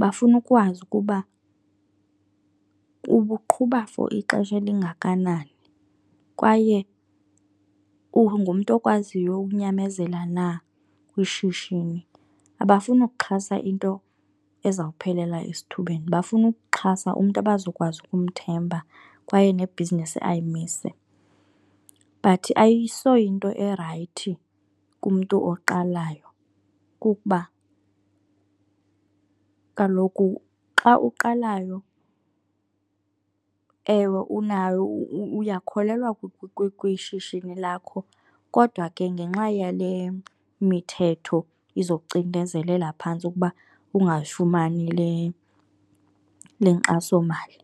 Bafuna ukwazi ukuba ubuqhuba for ixesha elingakanani kwaye ungumntu okwaziyo ukunyamezela na kwishishini. Abafuni ukuxhasa into ezawuphelela esithubeni, bafuna ukuxhasa umntu abazokwazi ukumthemba kwaye ne-business ayimise. But ayisoyinto erayithi kumntu oqalayo kukuba kaloku xa uqalayo, ewe unayo uyakholelwa kwishishini lakho kodwa ke ngenxa yale mithetho izokucinezelela phantsi ukuba ungafumani le, le nkxasomali.